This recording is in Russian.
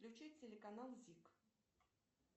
включи телеканал зик